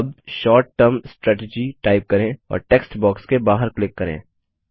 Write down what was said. अब short term strategy type करें और टेक्स्ट बॉक्स के बाहर क्लिक करें